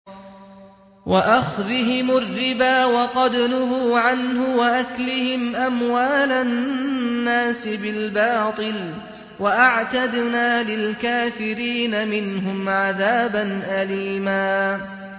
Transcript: وَأَخْذِهِمُ الرِّبَا وَقَدْ نُهُوا عَنْهُ وَأَكْلِهِمْ أَمْوَالَ النَّاسِ بِالْبَاطِلِ ۚ وَأَعْتَدْنَا لِلْكَافِرِينَ مِنْهُمْ عَذَابًا أَلِيمًا